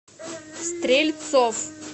стрельцов